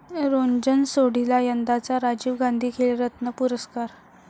Röntgen सोढीला यंदाचा राजीव गांधी खेलरत्न पुरस्कार